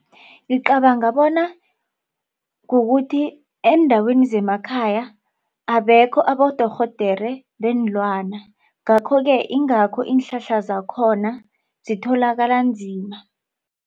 Ngicabanga bona kukuthi eendaweni zemakhaya abekho abodorhodera weenlwana. Ngakho-ke ingakho iinhlahla zakhona zitholakala nzima.